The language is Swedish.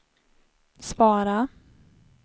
svara